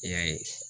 E y'a ye